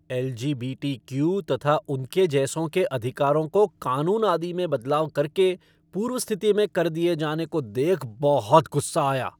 LGBTQ तथा उनके जैसों के अधिकारों को क़ानून आदि में बदलाव करके पूर्व स्थिति में कर दिए जाने को देख बहुत गुस्सा आया।